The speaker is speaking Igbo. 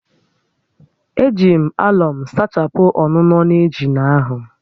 E ji m àlọ̀m sachapụ ọ́nụ́nọ́ na njina áhụ̀